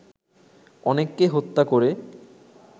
অনেককে হত্যা করে